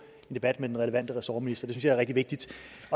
en debat med den relevante ressortminister det jeg er rigtig vigtigt